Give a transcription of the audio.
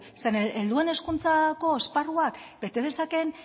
zeren helduen hezkuntzako esparruak bete dezakeen